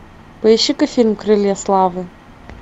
поищи ка фильм крылья славы